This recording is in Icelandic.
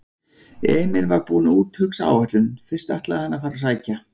Emil var búinn að úthugsa áætlun: Fyrst ætlaði hann að fara og sækja